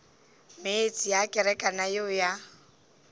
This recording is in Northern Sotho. meetse a kerekana yeo ya